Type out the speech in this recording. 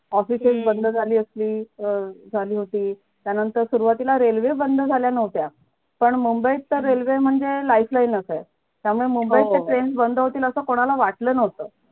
office ही बंद झाली असली अं झाली चालू होती त्यानंतर सुरुवातीला railway बंद झाल्या नव्हत्या पण मुंबईच्या railway म्हणजे life line आहे त्यामुळे मुंबईच्या train बंद होतील असं कोणाला वाटलं नव्हतं